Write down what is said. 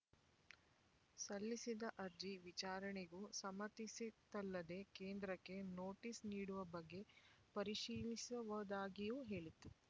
ಸಲ್ಲಿಸಿದ್ದ ಅರ್ಜಿ ವಿಚಾರಣೆಗೂ ಸಮ್ಮತಿಸಿತ್ತಲ್ಲದೆ ಕೇಂದ್ರಕ್ಕೆ ನೋಟೀಸ್ ನೀಡುವ ಬಗ್ಗೆ ಪರಿಶೀಲಿಸುವುದಾಗಿಯೂ ಹೇಳಿತ್ತು